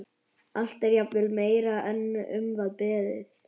Allt er jafnvel meira en um var beðið.